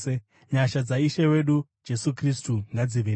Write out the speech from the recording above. Nyasha dzaIshe wedu Jesu Kristu ngadzive nemi.